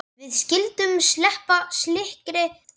Við skyldum sleppa slíkri væmni.